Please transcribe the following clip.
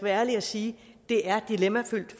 ærlig at sige at det er dilemmafyldt